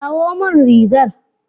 Kawo min rigar.